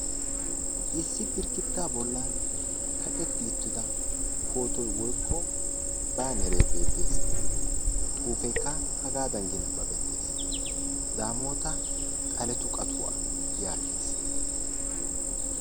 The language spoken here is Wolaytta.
Issi girggidda bollan kaqqetti uttida pootoy woykko baaneree beettees. Xuufeekka hagaadan nabbabettees. Daamoota xaletu qatuwa yaagees.